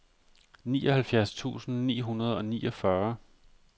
nioghalvfjerds tusind ni hundrede og niogfyrre